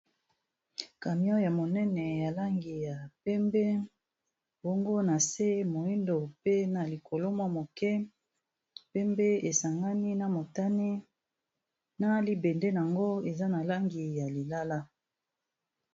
camion ya monene ya langi ya pembe bango na se moindo pe na likolomwa moke mpembe esangani na motane na libende yango eza na langi ya lilala